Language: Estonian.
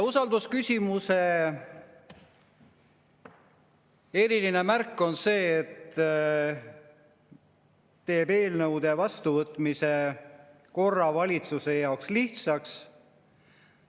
Usaldusküsimuse eriline märk on see, et see teeb eelnõude vastuvõtmise valitsuse jaoks lihtsaks.